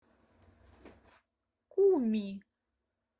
куми